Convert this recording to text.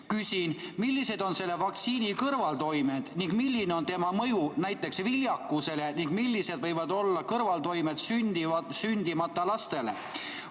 Küsin: millised on selle vaktsiini kõrvaltoimed ning milline on selle mõju näiteks viljakusele ja millised võivad olla kõrvaltoimed sündimata lastele?